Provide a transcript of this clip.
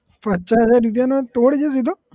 પચાસ હજાર રૂપિયાનો તોડ છે સીધો